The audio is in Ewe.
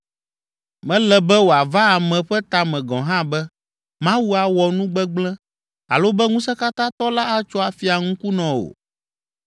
Mele be wòava ame ƒe ta me gɔ̃ hã be Mawu awɔ nu gbegblẽ alo be Ŋusẽkatãtɔ la atso afia ŋkunɔ o.